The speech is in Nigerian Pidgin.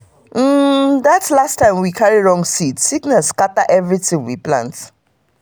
that last time we carry wrong seed sickness scatter everything we plant.